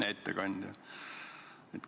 Hea ettekandja!